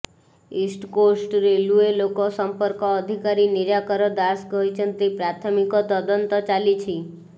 East Coast railway ଲୋକ ସମ୍ପର୍କ ଅଧିକାରୀ ନିରାକାର ଦାସ କହିଛନ୍ତି ପ୍ରାଥମିକ ତଦନ୍ତ ଚାଲିଛି